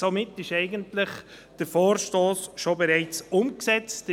Somit ist dieser Vorstoss eigentlich bereits umgesetzt.